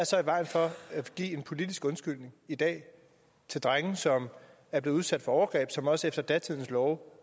så i vejen for at give en politisk undskyldning i dag til drenge som er blevet udsat for overgreb som også efter datidens love